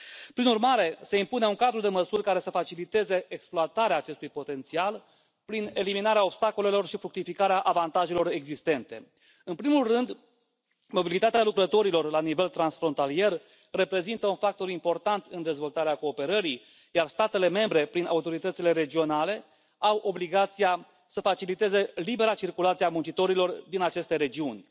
Prin urmare, se impune un cadru de măsuri care să faciliteze exploatarea acestui potențial prin eliminarea obstacolelor și fructificarea avantajelor existente. În primul rând, mobilitatea lucrătorilor la nivel transfrontalier reprezintă un factor important în dezvoltarea cooperării, iar statele membre, prin autoritățile regionale, au obligația să faciliteze libera circulație a muncitorilor din aceste regiuni.